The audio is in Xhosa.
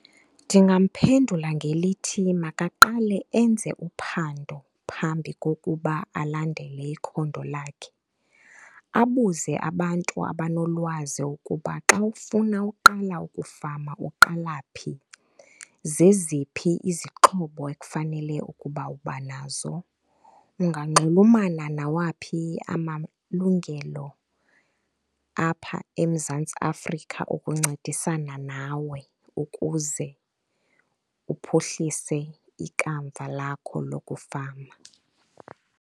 Ndingamphendula ngelithi makaqale enze uphando phambi kokuba alandele ikhondo lakhe, abuze abantu abanolwazi ukuba xa ufuna uqala ukufama uqala phi, zeziphi izixhobo ekufanele ukuba uba nazo, unganxulumenana nawaphi amalungelo apha eMzantsi Afrika ukuncedisana nawe ukuze uphuhlise ikamva lakho lokufama.